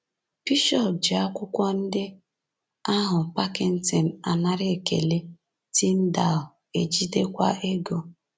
“Bishọp ji akwụkwọ ndị ahụ, Packington anara ekele, Tyndale ejidekwa ego.”